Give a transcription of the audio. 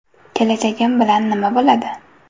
Kelajagim bilan nima bo‘ladi?